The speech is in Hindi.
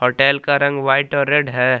होटेल का रंग व्हाइट और रेड है।